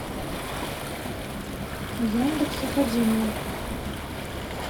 яндекс академия